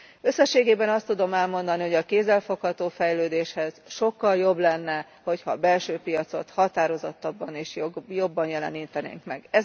Összességében azt tudom elmondani, hogy a kézzelfogható fejlődéshez sokkal jobb lenne, hogy ha a belső piacot határozottabban és jobban jelenítenénk meg.